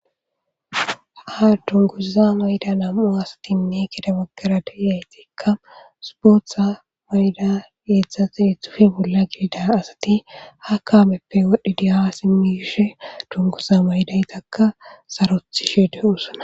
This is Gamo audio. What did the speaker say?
ha dunguza mayda nam7u asatinne kida baggara deiyaytikka supotha mayyda geethate hithufi bolla gidida asati ha kaameppe wodhdhidiha simmiyishe dunguza maydaytakka sarothi shi de usana